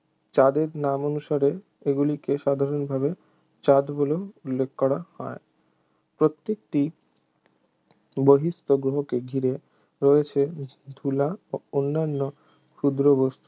চাঁদের নামানুসারে এগুলিকে সাধারণভাবে চাঁদ বলে উল্লেখ করা হয় প্রত্যেকটি বহিঃস্থ গ্রহকে ঘিরে রয়েছে ধূলা ও অন্যান্য ক্ষুদ্র বস্তু